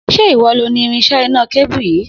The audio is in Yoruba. Se ìwọ lo ni irinsé iná kébù yìí?